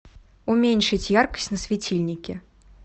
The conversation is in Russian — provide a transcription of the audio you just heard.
уменьшить яркость на светильнике